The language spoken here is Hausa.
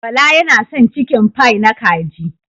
Bala yana son cikinfai na kaji